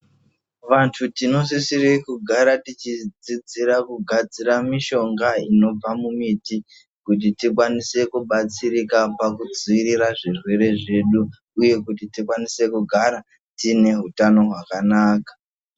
Vantu tinosisire kugare tichidzidzire kugadzire mishonga inobva mumiti kuti tikwanise kudetsereka kudziirira zvirwere zvedu uye kuti tikwanise kugara tiine hutano hwakanaka.